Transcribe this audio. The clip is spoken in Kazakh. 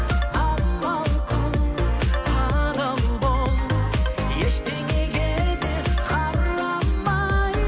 амал қыл адал бол ештеңеге де қарамай